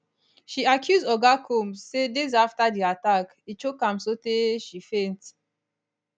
she accuse oga combs say days afta di attack e choke am sotay she faint